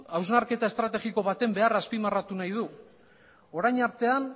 hausnarketa estrategiko baten beharra azpimarratu nahi du orain artean